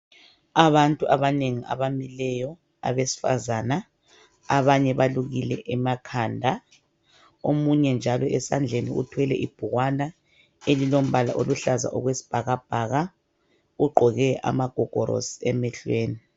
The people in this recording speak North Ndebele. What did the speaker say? Abantu abanengi abamileyo abesifazana abanye balukile emakhanda .Omunye njalo esandleni uthwele ibhukwana elilombala oluhlaza okwesibhakabhaka ugqoke amagogorosi emehlweni .